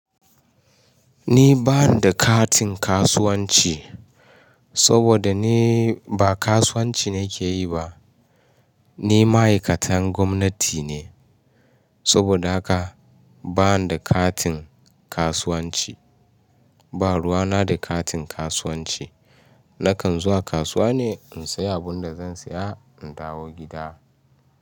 Ni ba ni da katin kasuwanci, saboda ni ba kasuwanci na ke yi ba. Ni ma'aikatan gwamnati ne, saboda haka ba ni da katin kasuwanci. Ba ruwa na da katin kasuwanci. Nakan zuwa kasuwa ne in sayi abin da zan saya in dawo gida.